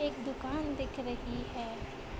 एक दुकान दिख रही है |